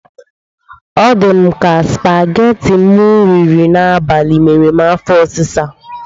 Ọ dị Mụ ka spageti m riri n'abali mere m afọ ọsịsa.